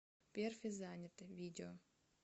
перфе занято видео